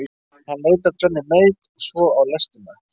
Hann leit af Johnny Mate og svo á lestina.